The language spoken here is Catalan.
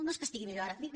no és que estigui millor ara